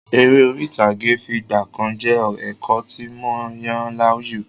Eré orí ìtàgé fìgbàkan jẹ́ ẹ̀kọ́ tí mo yàn láàyò.